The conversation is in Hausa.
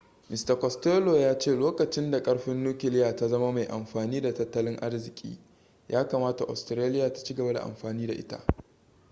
mista costello ya ce lokacin da karfin nukiliya ta zama mai amfani da tattalin arziki ya kamata australia ta ci gaba da amfani da ita